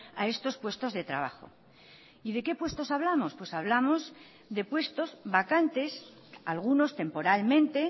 a estos puestos de trabajo y de qué puestos hablamos pues hablamos de puestos vacantes algunos temporalmente